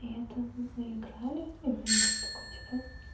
это мы играли и мне он говорит такой типа